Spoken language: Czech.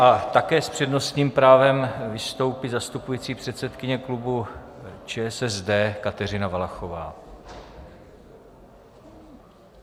A také s přednostním právem vystoupí zastupující předsedkyně klubu ČSSD Kateřina Valachová.